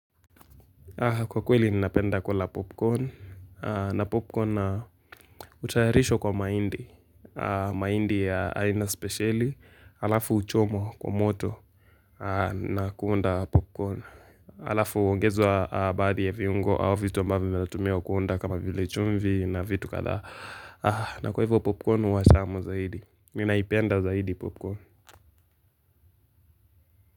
Kwa kweli ni napenda kula popcorn. Na popcorn utayarisho kwa maindi. Maindi aina speciali. Alafu uchomwa kwa moto na kuunda popcorn. Alafu uongezwa baadhi ya viungo au vitu ambavyo vimetumiwa kuunda kama vile chumvi na vitu kadhaa. Na kwa hivyo popcorn huwa tamu zaidi. Minaipenda zaidi popcorn.